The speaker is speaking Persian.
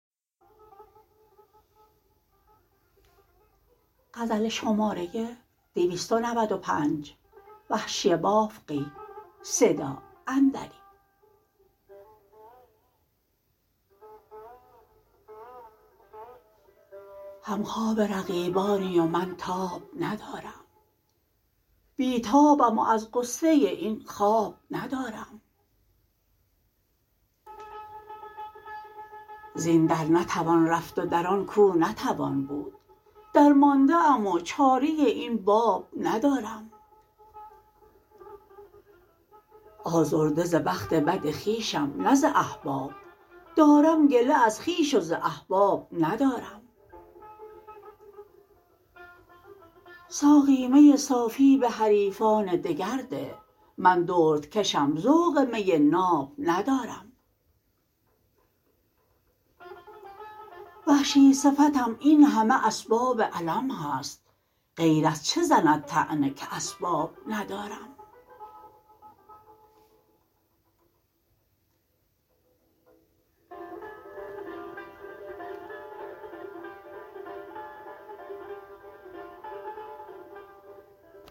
همخواب رقیبانی و من تاب ندارم بی تابم و از غصه این خواب ندارم زین در نتوان رفت و در آن کو نتوان بود درمانده ام و چاره این باب ندارم آزرده ز بخت بد خویشم نه ز احباب دارم گله از خویش و ز احباب ندارم ساقی می صافی به حریفان دگر ده من دردکشم ذوق می ناب ندارم وحشی صفتم اینهمه اسباب الم هست غیر از چه زند طعنه که اسباب ندارم